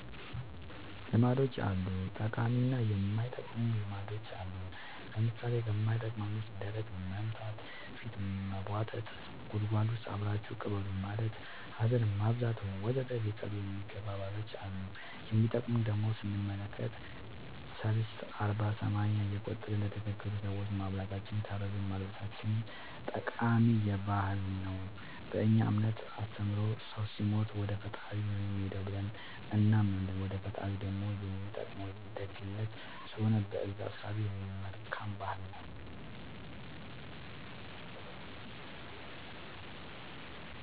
ልማዶች አሉ ጠቃሚ እና የማይጠቅሙ ልማዶች አሉን ለምሳሌ ከማይጠቅመን ውስጥ ደረት መምታ ፊት መቦጠጥ ጉድጎድ ውስጥ አብራችሁኝ ቅበሩኝ ማለት ሀዘን ማብዛት ወዘተ ሊቀሩ የሚገባ ባህሎች አሉ የሚጠቅሙን ደሞ ስንመለከት ሰልስት አርባ ሰማንያ እየቆጠርን ለተቸገሩ ሰዎች ማብላታችን የታረዙትን ማልበሳችን ጠቃሚ ባህል ነው በእኛ እምነት አስተምሮ ሰው ሲሞት ወደፈጣሪው ነው የሚሄደው ብለን እናምናለን ወደ ፈጣሪው ደሞ የሚጠቅመው ደግነት ስለሆነ በእዛ እሳቤ መልካም ባህል ነው